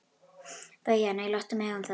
BAUJA: Nei, láttu mig um það.